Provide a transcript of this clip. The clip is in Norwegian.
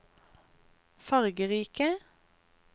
fargerike